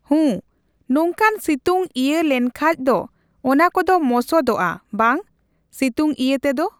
ᱦᱩᱸ ᱱᱚᱝᱠᱟᱱ ᱥᱤᱛᱩᱝ ᱤᱭᱟᱹ ᱞᱮᱱᱠᱷᱟᱡ ᱫᱚ ᱚᱱᱟ ᱠᱚᱫᱚ ᱢᱚᱥᱚᱛᱚᱜᱼᱟ ᱵᱟᱝ᱾ ᱥᱤᱛᱩᱝ ᱤᱭᱟᱹᱛᱮᱫᱚ᱾